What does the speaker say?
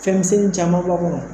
Fɛnmisɛnni caman b'a kɔnɔ